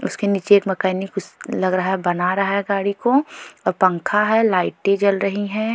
उसके नीचे एक मकानी कुछ लग रहा है बना रहा है गाड़ी को और पंखा है लाइटें जल रही है।